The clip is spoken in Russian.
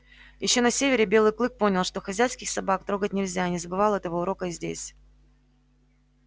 ещё на севере белый клык понял что хозяйских собак трогать нельзя и не забывал этого урока и здесь